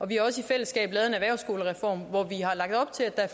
vi har også i fællesskab lavet en erhvervsskolereform hvor vi har lagt op til at